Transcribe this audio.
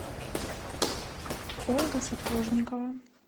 ольга сапожникова